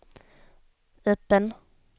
öppen